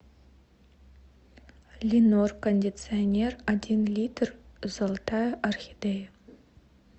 ленор кондиционер один литр золотая орхидея